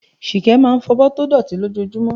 Ṣìkẹ́ máa ń fọ̀bọ́ tó dọ̀tí lójoojúmọ́.